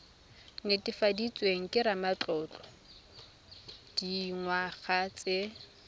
netefaditsweng ke ramatlotlo dingwaga tse